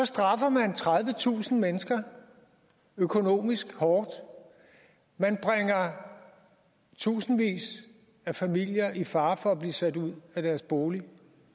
straffer man tredivetusind mennesker økonomisk hårdt man bringer tusindvis af familier i fare for at blive sat ud af deres bolig